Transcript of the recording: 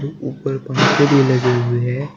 ऊपर पंखे भी लगे हुए है।